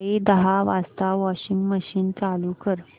सकाळी दहा वाजता वॉशिंग मशीन चालू कर